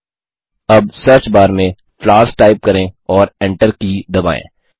अब search bar में flowers type करें और Enter की दबाएँ